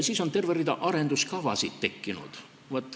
Siis on terve rida arengukavasid tekkinud.